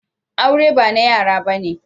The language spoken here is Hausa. Aure ba na yara bane.